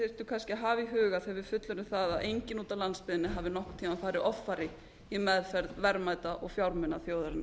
kannski að hafa í huga þegar við fullyrðum það að enginn úti á landsbyggðinni hafi nokkurn tíma farið offari í meðferð verðmæta og fjármuna þjóðarinnar